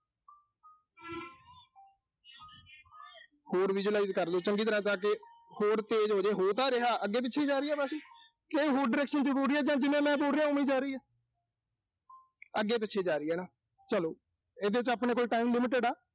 ਹੋਰ visualize ਕਰਲੋ। ਚੰਗੀ ਤਰ੍ਹਾਂ ਜਾ ਕੇ ਹੋਰ ਤੇਜ਼ ਹੋਜੇ, ਹੋ ਤਾਂ ਰਿਹਾ। ਅੱਗੇ-ਪਿੱਛੇ ਹੀ ਜਾ ਰਹੀ ਆ ਵਾਸ਼ਲ। ਕਿ ਹੋਰ direction ਚ ਹੋ ਰਹੀ ਆ ਜਾਂ ਜਿਵੇਂ ਮੈਂ ਬੋਲ ਰਿਹਾਂ, ਓਵੇਂ ਹੀ ਜਾ ਰਹੀ ਆ। ਅੱਗੇ-ਪਿੱਛੇ ਜਾ ਰਹੀ ਆ ਨਾ। ਚਲੋ ਇਹਦੇ ਚ ਆਪਣੇ ਕੋਲ time limited ਆ।